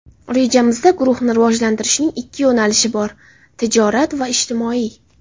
Rejamizda guruhni rivojlantirishning ikki yo‘nalishi bor: tijorat va ijtimoiy.